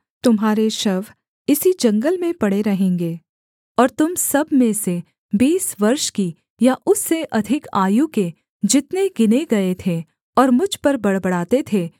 तुम्हारे शव इसी जंगल में पड़े रहेंगे और तुम सब में से बीस वर्ष की या उससे अधिक आयु के जितने गिने गए थे और मुझ पर बड़बड़ाते थे